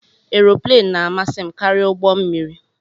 Aeroplane na-amasị m karịa ụgbọ mmiri